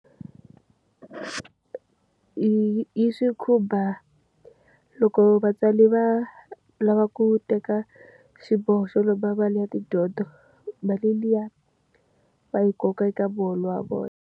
Yi yi swi khumba loko vatswari va lava ku teka xiboho xo lomba mali ya tidyondzo, mali liya va yi koka eka muholo wa vona.